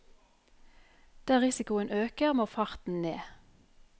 Der risikoen øker, må farten ned.